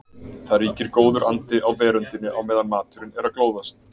Það ríkir góður andi á veröndinni á meðan maturinn er að glóðast.